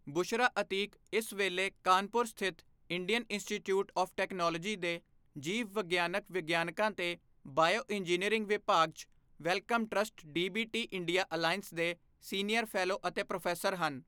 ਬੁਸ਼ਰਾ ਅਤੀਕ ਇਸ ਵੇਲੇ ਕਾਨਪੁਰ ਸਥਿਤ ਇੰਡੀਅਨ ਇੰਸਟੀਚਿਊਟ ਆਵ੍ ਟੈਕਨੋਲੋਜੀ ਦੇ ਜੀਵ ਵਿਗਿਆਨਕ ਵਿਗਿਆਨਾਂ ਤੇ ਬਾਇਓਇੰਜੀਨੀਅਰਿੰਗ ਵਿਭਾਗ ਚ Wellcome trust DBT India alliance ਦੇ ਸੀਨੀਅਰ ਫ਼ੈਲੋ ਅਤੇ ਪ੍ਰੋਫ਼ੈਸਰ ਹਨ।